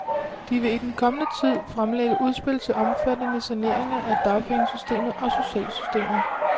De vil i den kommende tid fremlægge udspil til omfattende saneringer af dagpengesystemet og socialsystemet.